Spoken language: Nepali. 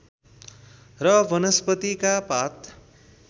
र वनस्पतिका पात